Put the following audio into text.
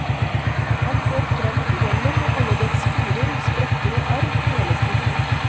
Han får frem fjellet med alle dets furer, sprekker og arr, hele strukturen.